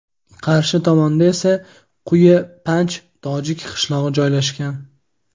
qarshi tomonda esa Quyi Panj tojik qishlog‘i joylashgan.